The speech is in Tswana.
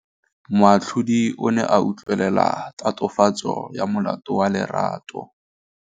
Moatlhodi o ne a utlwelela tatofatsô ya molato wa Lerato.